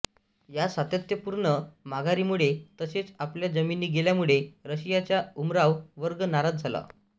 या सातत्यपूर्ण माघारीमुळे तसेच आपल्या जमिनी गेल्यामुळे रशियाचा उमराव वर्ग नाराज झाला